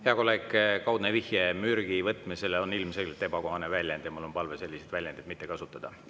Hea kolleeg, kaudne vihje mürgi võtmisele on ilmselgelt ebakohane väljend ja mul on palve selliseid väljendeid mitte kasutada.